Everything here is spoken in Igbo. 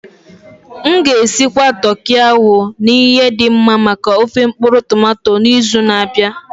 M ga-esigwa toki ahụ na ihe dị mma maka ofé mkpuru-tomato n'izu na-abịa.